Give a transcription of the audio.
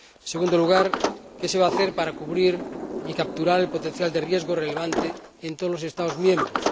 Y, en segundo lugar, qué se va a hacer para cubrir y capturar el potencial de riesgo relevante en todos los Estados miembros.